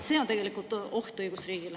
See on tegelikult oht õigusriigile.